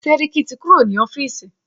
Sẹ́ríkí ti kúrò ní ọ́fìsì.